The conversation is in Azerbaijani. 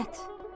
Qismət.